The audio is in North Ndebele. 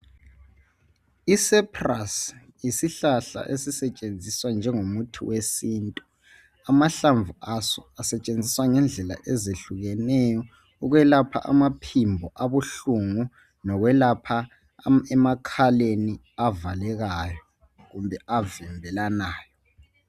Icyprus yisihlahla esisetshenziswa njengomuthi wesintu. Amahlamvu aso asetshenziswa ngendlela ezehlukeneyo ukwelapha amaphimbo abuhlungu lokwelapha emakhaleni avalekayo kumbe avimbelanayo.